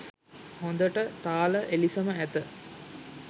හොඳට තාල එලිසම ඇත